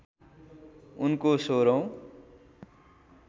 उनको १६ औँ